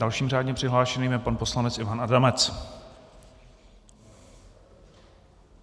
Dalším řádně přihlášeným je pan poslanec Ivan Adamec.